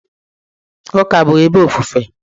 Ụka bụ ebe ofufe.